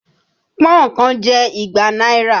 Pọ́n-ọ̀n kan jẹ́ igba náírà